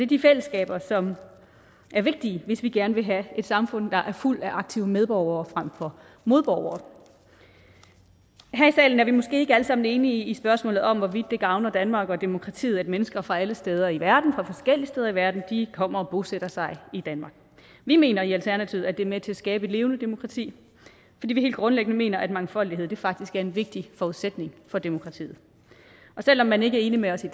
de fællesskaber som er vigtige hvis vi gerne vil have et samfund der er fuldt af aktive medborgere frem for modborgere her i salen er vi måske ikke alle sammen enige i spørgsmålet om hvorvidt det gavner danmark og demokratiet at mennesker fra alle steder i verden og fra forskellige steder i verden kommer og bosætter sig i danmark vi mener i alternativet at det er med til at skabe et levende demokrati fordi vi helt grundlæggende mener at mangfoldighed faktisk er en vigtig forudsætning for demokratiet og selv om man ikke er enig med os i